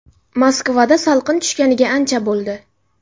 Moskvada salqin tushganiga ancha bo‘ldi.